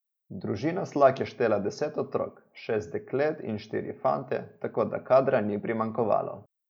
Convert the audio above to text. Družina Slak je štela deset otrok, šest deklet in štiri fante, tako da kadra ni primanjkovalo.